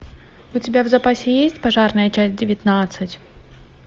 у тебя в запасе есть пожарная часть девятнадцать